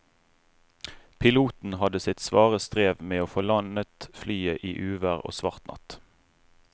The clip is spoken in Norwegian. Piloten hadde sitt svare strev med å få landet flyet i uvær og svart natt.